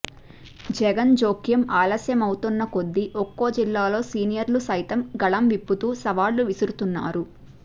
జగన్ జోక్యం ఆలస్యం అవుతోన్న కొద్దీ ఒక్కో జిల్లాలో సీనియర్లు సైతం గళం విప్పుతూ సవాళ్లు విసురుతున్నారు